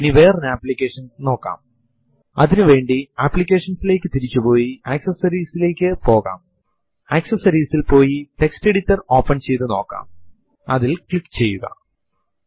പൊതുവായ escape sequences ൽ tab നുവേണ്ടി t പുതിയ ലൈനിന് വേണ്ടി n കൂടാതെ ഉപയോഗിക്കുമ്പോൾ പ്രോംപ്റ്റ് അതെ നിരയിൽ തന്നെ പ്രദർശിപ്പിക്കാൻ കാരണമാകുന്ന c എന്ന എസ്കേപ്പ് sequence ഉം ഉൾകൊള്ളുന്നു